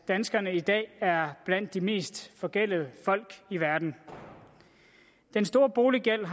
danskerne i dag er blandt de mest forgældede folk i verden den store boliggæld